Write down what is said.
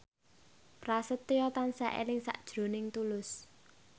Prasetyo tansah eling sakjroning Tulus